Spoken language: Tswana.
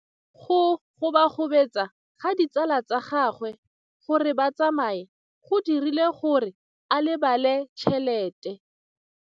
Go gobagobetsa ga ditsala tsa gagwe, gore ba tsamaye go dirile gore a lebale tšhelete.